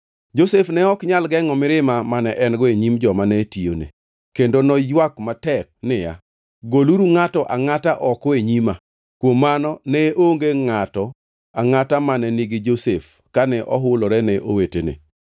Josef ne ok nyal gengʼo mirima mane en-go e nyim joma ne tiyone. Kendo noywak matek niya, “Goluru ngʼato angʼata oko e nyima!” Kuom mano ne onge ngʼato angʼata mane nigi Josef kane ohulore ne owetene.